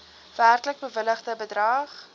werklik bewilligde bedrag